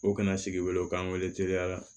O kana sigi wele u k'an wele teliya la